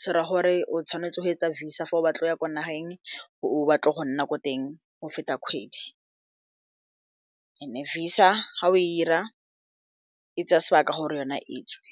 se ra gore o tshwanetse go etsa visa fa o batla go ya ko nageng o batla go nna ko teng go feta kgwedi and visa ga o e ira e tsaya sebaka gore yona e tswe.